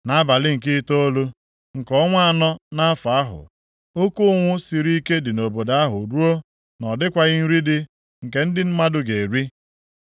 Nʼabalị nke itoolu, nke ọnwa anọ nʼafọ ahụ, oke ụnwụ siri ike dị nʼobodo ahụ ruo na ọ dịkwaghị nri dị nke ndị mmadụ ga-eri.